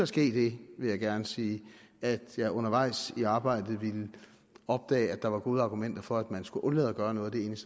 ske det vil jeg gerne sige at jeg undervejs i arbejdet opdagede at der var gode argumenter for at man skulle undlade at gøre noget af det